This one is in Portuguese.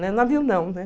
Não haviam, não, né?